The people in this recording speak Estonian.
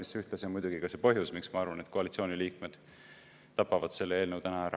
See on ühtlasi ka põhjus, miks ma arvan, et koalitsiooni liikmed tapavad selle eelnõu täna ära.